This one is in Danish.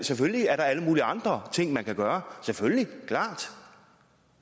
selvfølgelig er der alle mulige andre ting man kan gøre selvfølgelig klart